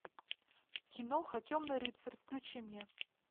киноха темный рыцарь включи мне